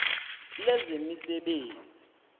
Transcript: lezemisebenzi